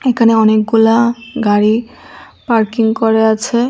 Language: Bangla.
এখানে অনেকগুলা গাড়ি পার্কিং করা আছে।